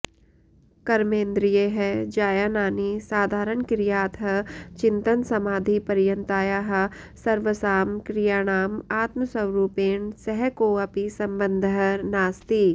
कर्मेन्द्रियैः जायानानि साधारणक्रियातः चिन्तनसमाधिपर्यन्तायाः सर्वसां क्रियाणाम् आत्मस्वरूपेण सह कोऽपि सम्बन्धः नास्ति